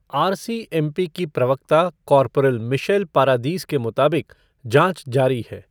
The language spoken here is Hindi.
आर सी एम पी की प्रवक्ता कॉरपोरल मिशैल पारादीस के मुताबिक, जाँच जारी है।.